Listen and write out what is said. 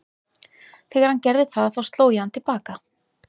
Þegar hann gerði það þá sló ég hann til baka.